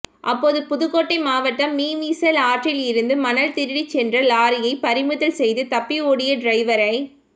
அப்போது புதுக்கோட்டை மாவட்டம் மீமிசல் ஆற்றில் இருந்து மணல் திருடிச் சென்றலாரியை பறிமுதல் செய்து தப்பி ஓடிய டிரைவரை